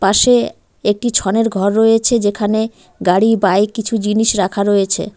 পাশে একটি ছনের ঘর রয়েছে যেখানে গাড়ি বাইক কিছু জিনিস রাখা রয়েছে।